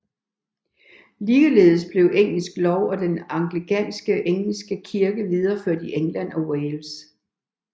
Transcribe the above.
Ligeledes blev engelsk lov og den anglikanske engelske kirke videreført i England og Wales